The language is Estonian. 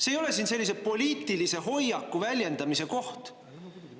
See ei ole siin sellise poliitilise hoiaku väljendamise koht.